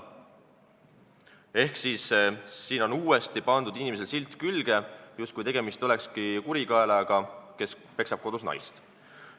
Ehk uuesti on pandud inimesele külge silt, justkui tegemist olekski kurikaelaga, kes peksab kodus naist.